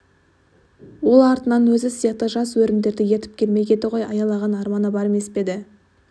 ол артынан өзі сияқты жас өрімдерді ертіп келмек еді ғой аялаған арманы бар емес пе еді